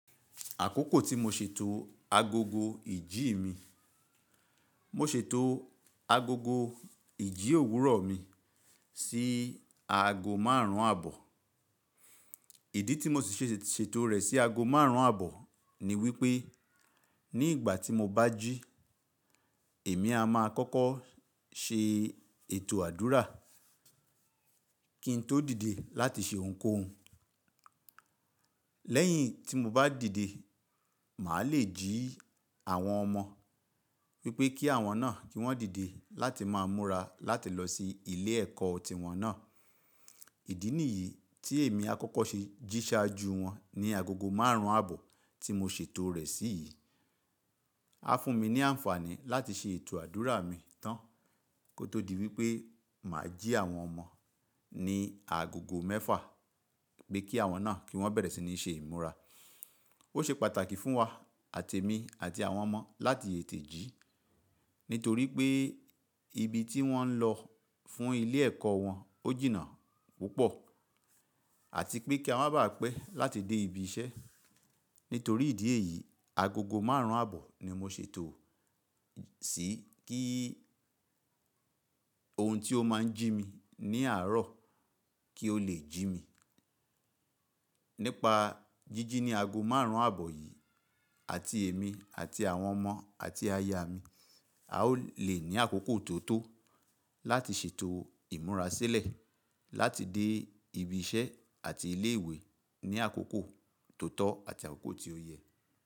Àkókò tí mo ṣètò agogo ìjí mi, mo ṣètò agogo ìjí òwúrọ̀ mi sí aago márùn-ún àbọ̀. Ìdí tí mo si ṣe ṣètò rẹ̀ sí aago márùn-ún àbọ̀ ni wípé, ní ìgbà tí mo bá jí, èmi a máa kọ́kọ́ ṣe ètò àdúrà kí n tó dìde láti ṣe ohunkóhun. Lẹ́yìn tí mo bá dìde, màá lè jí àwọn ọmọ wípé kí àwọn náà kí wọ́n dìde láti máa múra láti lọ sí ilé ẹ̀kọ́ tiwọn náà. Ìdí nìyí tí èmi a kọ́kọ́ ṣe jíṣàájú wọn ní agogo márùn-ún àbọ̀ tí mo ṣètò rẹ̀ sí yìí. A fún mi ní àǹfààní láti ṣe ètò àdúrà mi tán kó tó di wípé màá jí àwọn ọmọ ní agogo mẹ́fà pé kí àwọn náà kí wọ́n bẹ̀rẹ̀ sí ní ṣe ìmúra. Ó ṣe pàtàkì fún wa àti èmi àti àwọn ọmọ láti tètè jí nítorí pé ibi tí wọ́n ń lọ fún ilé ẹ̀kọ́ wọn ó jìnnà púpọ̀ àti pé kí a má bà á pẹ́ láti dé ibi iṣẹ́. Nítorí ìdí èyí, agogo márùn-ún àbọ̀ ni mo ṣètò sí kí ohun tí ó máa ń jí mi ní àárọ̀ kí ó lè jí mi. Nípa jíjí ní ago márùn-ún àbọ̀ yìí àti èmi àti àwọn ọmọ àti aya mi, a ó lè ní àkókò tó tó láti ṣètò ìmúra sílẹ̀ láti dé ibi iṣẹ́ àti ilé ìwé ní àkókò tó tọ́ àti àkókò tí ó yẹ.